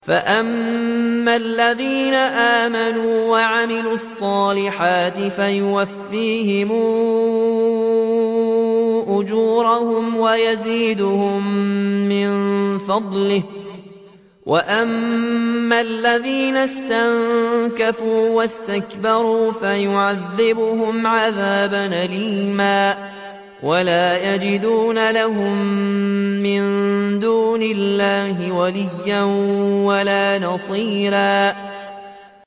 فَأَمَّا الَّذِينَ آمَنُوا وَعَمِلُوا الصَّالِحَاتِ فَيُوَفِّيهِمْ أُجُورَهُمْ وَيَزِيدُهُم مِّن فَضْلِهِ ۖ وَأَمَّا الَّذِينَ اسْتَنكَفُوا وَاسْتَكْبَرُوا فَيُعَذِّبُهُمْ عَذَابًا أَلِيمًا وَلَا يَجِدُونَ لَهُم مِّن دُونِ اللَّهِ وَلِيًّا وَلَا نَصِيرًا